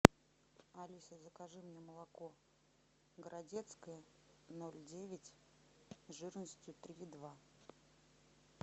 алиса закажи мне молоко городецкое ноль девять жирностью три и два